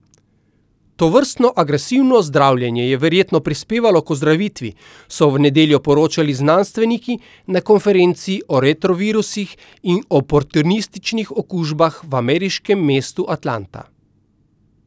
Tovrstno agresivno zdravljenje je verjetno prispevalo k ozdravitvi, so v nedeljo poročali znanstveniki na konferenci o retrovirusih in oportunističnih okužbah v ameriškem mestu Atlanta.